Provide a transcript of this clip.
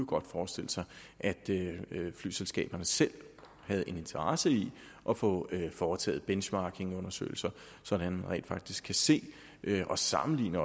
godt forestille sig at flyselskaberne selv havde en interesse i at få foretaget benchmarkingundersøgelser så man rent faktisk se og sammenligne